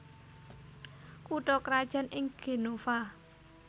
Kutha krajan ing Genova